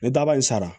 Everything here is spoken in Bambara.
Ni daba in sara